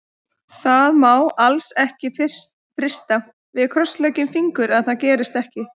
Það má alls ekki frysta, við krossleggjum fingur að það gerist ekki.